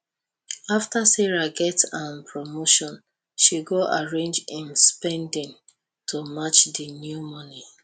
after sarah get um promotion she go arrange im spending to match di new moni